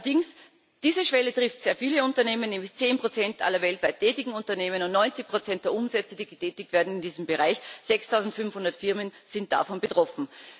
Allerdings trifft diese Schwelle sehr viele Unternehmen, nämlich zehn Prozent aller weltweit tätigen Unternehmen, und 90 Prozent der Umsätze, die getätigt werden in diesem Bereich 6500 Firmen sind davon betroffen.